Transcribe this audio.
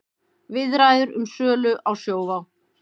Viðræður um sölu á Sjóvá